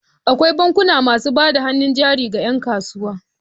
Akwai bankuna masu bada hannun jari ga 'yankasuwa.